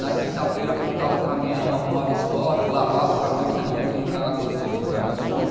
Na quinta-feira, contava o caminhão, arrumava estoque, lavava o caminhão, porque você não podia entrar na Tostines com o caminhão sujo.